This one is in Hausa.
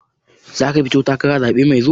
Zaka fito takara a zaɓe mai zuwa?